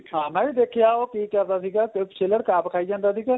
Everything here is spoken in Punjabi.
ਹਾਂ ਮੈਂ ਵੀ ਦੇਖਿਆ ਉਹ ਕਿ ਕਰਦਾ ਸੀਗਾ ਸਿਰਫ਼ ਛਿੱਲੜ ਆਪ ਖਾਈ ਜਾਂਦਾ ਸੀਗਾ